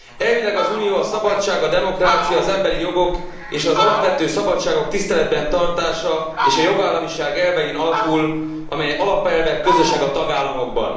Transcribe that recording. Elvileg az Unió a szabadság, a demokrácia, az emberi jogok és az alapvető szabadságok tiszteletben tartása és a jogállamiság elvein alapul, amely alapelvek közösek a tagállamokban.